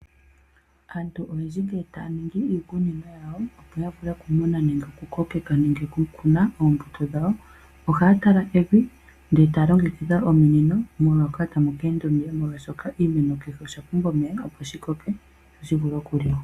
Aantu oyendji ngele taya ningi iikunino yawo, opo ya vule okumuna nenge okukokeka nenge okukuna oombuto dhawo, ohaya tala evi, ndele taya longekidha ominino, moka tamu ka enda omeya, molwashoka oshimeno kehe osha pumbwa omeya, opo shi koke sho shi vule okuliwa.